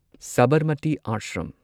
Sabarmati ashram